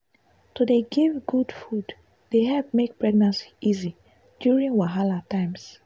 to dey give good food dey help make pregnancy easy during wahala times.